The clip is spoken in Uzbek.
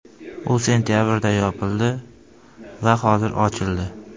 U sentabrda yopildi va hozir ochildi.